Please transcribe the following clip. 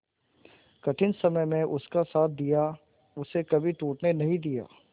कठिन समय में उसका साथ दिया उसे कभी टूटने नहीं दिया